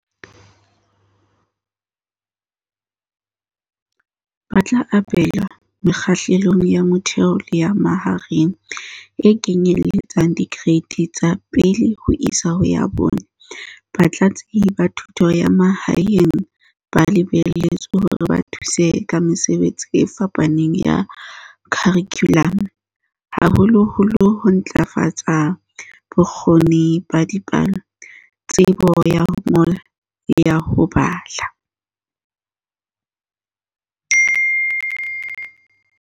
"Ba tla abelwa Mekgahlelong ya Motheo le ya Mahareng, e kenyelletsang Dikereiti tsa 1 ho isa 4."Batlatsi ba Thuto ya Ma haeng ba lebelletswe hore ba thuse ka mesebetsi e fapaneng ya kharikhulamo, haholoholo ho ntlafatsa bo kgoni ba dipalo, tsebo ya ho ngola le ya ho bala.